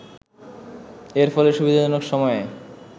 এর ফলে সুবিধাজনক সময়ে